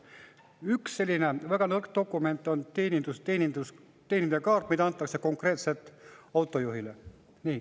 Üks selline väga nõrk dokument on teenindajakaart, mida antakse konkreetselt autojuhile.